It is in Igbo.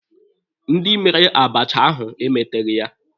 Ndị mere abacha ahụ emeteghị ya.